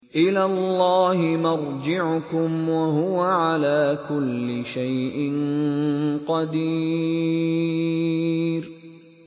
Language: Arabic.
إِلَى اللَّهِ مَرْجِعُكُمْ ۖ وَهُوَ عَلَىٰ كُلِّ شَيْءٍ قَدِيرٌ